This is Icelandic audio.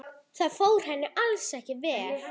Það fór henni alls ekki.